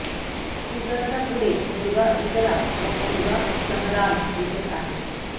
स्कूटरच्या पुढे मुलगा इकरा व मुलगा शहरान दिसत आहेत